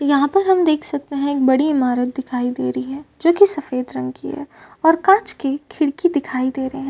यहाँ पर हम देख सकते है एक बड़ी ईमारत दिखाई दे रही है जोकि सफ़ेद रंग की है और काच की खिड़की दिखाई दे रहे है।